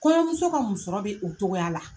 Kɔɲɔmuso ka musɔrɔ be o cogoya la.